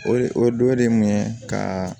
O o dɔ ye mun ye ka